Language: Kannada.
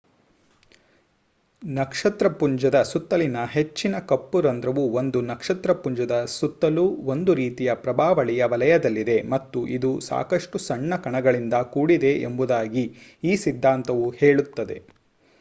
ನಕ್ಷತ್ರಪುಂಜದ ಸುತ್ತಲಿನ ಹೆಚ್ಚಿನ ಕಪ್ಪು ರಂಧ್ರವು ಒಂದು ನಕ್ಷತ್ರಪುಂಜದ ಸುತ್ತಲೂ ಒಂದು ರೀತಿಯ ಪ್ರಭಾವಳಿಯ ವಲಯದಲ್ಲಿದೆ ಮತ್ತು ಇದು ಸಾಕಷ್ಟು ಸಣ್ಣ ಕಣಗಳಿಂದ ಕೂಡಿದೆ ಎಂಬುದಾಗಿ ಈ ಸಿದ್ಧಾಂತವು ಹೇಳುತ್ತದೆ